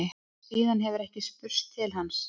Síðan hefur ekki spurst til hans